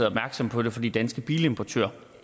opmærksom på det fordi danske bilimportører